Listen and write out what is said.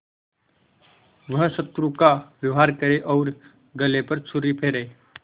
वह शत्रु का व्यवहार करे और गले पर छुरी फेरे